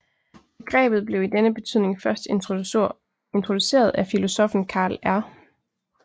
Begrebet blev i denne betydning først introduceret af filosoffen Karl R